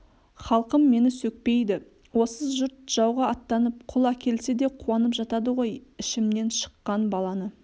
халқым мені сөкпейді осы жұрт жауға аттанып құл әкелсе де қуанып жатады ғой ішімнен шыққан баланы